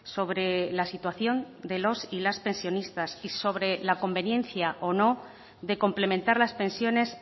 sobre la situación de los y las pensionistas y sobre la conveniencia o no de complementar las pensiones